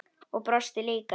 Og brosti líka.